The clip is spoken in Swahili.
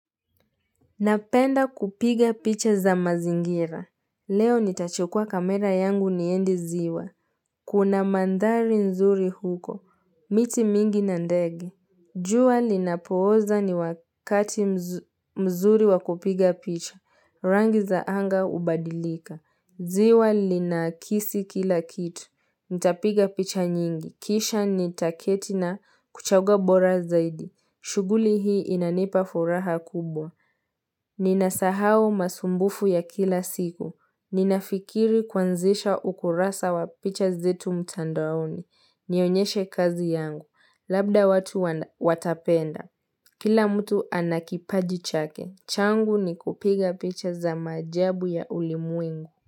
Napenda kupiga picha za mazingira. Leo nitachukua kamera yangu niende ziwa. Kuna mandhari nzuri huko. Miti mingi na ndege. Jua linapooza ni wakati mzuri wa kupiga picha. Rangi za anga hubadilika. Ziwa linakisi kila kitu. Nitapiga picha nyingi. Kisha nitaketi na kuchagua bora zaidi. Shughuli hii inanipa furaha kubwa. Ninasahau masumbufu ya kila siku. Ninafikiri kuanzisha ukurasa wa picha zetu mtandaoni. Nionyeshe kazi yangu. Labda watu watapenda. Kila mtu ana kipaji chake. Changu ni kupiga picha za maajabu ya ulimwengu.